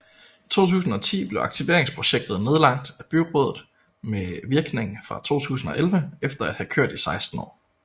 I 2010 blev aktiveringsprojektet nedlagt af byrådet med virkning fra 2011 efter at have kørt i 16 år